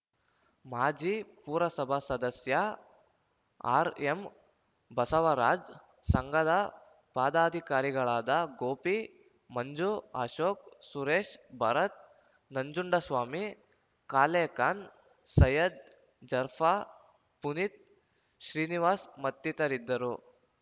ಮಾಜಿ ಪುರಸಭಾ ಸದಸ್ಯ ಆರ್‌ಎಂ ಬಸವರಾಜ್‌ ಸಂಘದ ಪದಾಧಿಕಾರಿಗಳಾದ ಗೋಪಿ ಮಂಜು ಅಶೋಕ್‌ ಸುರೇಶ್‌ ಭರತ್‌ ನಂಜುಂಡಸ್ವಾಮಿ ಕಾಲೇ ಖಾನ್‌ ಸೈಯದ್‌ ಜರ್ಫಾ ಪುನೀತ್‌ ಶ್ರೀನಿವಾಸ್‌ ಮತ್ತಿತರಿದ್ದರು